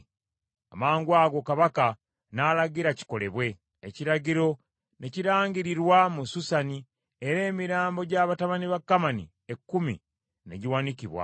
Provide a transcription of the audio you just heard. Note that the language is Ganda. Amangwago Kabaka n’alagira kikolebwe. Ekiragiro ne kirangirirwa mu Susani, era emirambo gya batabani ba Kamani ekkumi ne giwanikibwa.